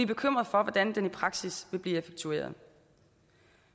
bekymrede for hvordan den i praksis vil blive effektueret